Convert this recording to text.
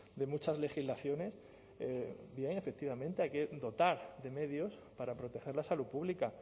de muchas legislaciones bien efectivamente hay que dotar de medios para proteger la salud pública